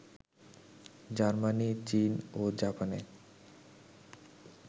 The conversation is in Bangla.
জার্মানি, চীন ও জাপানে